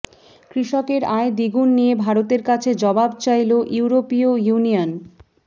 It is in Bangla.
কৃষকের আয় দ্বিগুন নিয়ে ভারতের কাছে জবাব চাইল ইউরোপীয় ইউনিয়ন